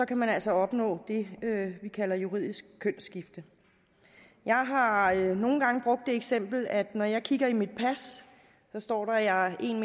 kan man altså opnå det vi kalder juridisk kønsskifte jeg har har nogle gange brugt det eksempel at når jeg kigger i mit pas så står der at jeg er en